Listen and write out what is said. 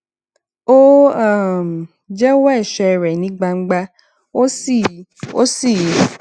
ó um jéwó èṣè rè ní gbangba ó sì ó sì